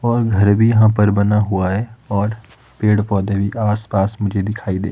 और घर भी यहां पर बना हुआ है और पेड़ पौधे भी आस पास मुझे दिखाई दे--